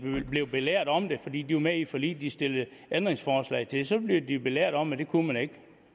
blev belært om det fordi de var med i et forlig de stillede ændringsforslag til så blev de belært om at det kunne man ikke